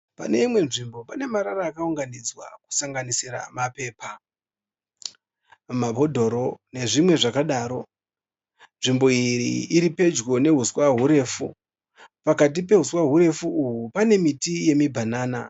Pane imwe nzvimbo pane marara akaunganidzwa kusanganisira mapepa, mabhodhoro nezvimwe zvakadaro. Nzvimbo iyi iripedyo nehuswa hurefu, pakati pehuswa hurefu uhwu pane miti yemubhanana.